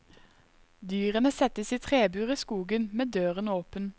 Dyrene settes i trebur i skogen med døren åpen.